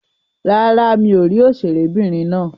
Rárá, mi ò rí òṣèré'bìnrin náà.